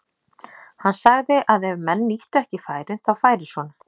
Hann sagði að ef menn nýttu ekki færin þá færi svona.